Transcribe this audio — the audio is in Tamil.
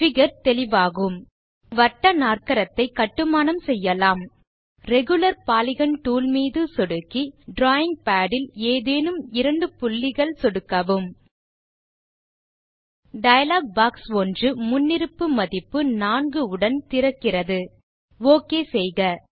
பிகர் தெளிவாகும் ஒரு வட்டநாற்கரத்தை கட்டுமானம் செய்யலாம் ரெகுலர் பாலிகன் டூல் மீது சொடுக்கி டிராவிங் பாட் இல் ஏதேனும் இரண்டு புள்ளிகள் சொடுக்கவும் டயலாக் பாக்ஸ் ஒன்று முன்னிருப்பு மதிப்பு 4 உடன் திறக்கிறது ஓகே செய்க